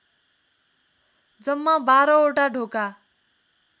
जम्मा बाह्रवटा ढोका